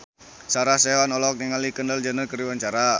Sarah Sechan olohok ningali Kendall Jenner keur diwawancara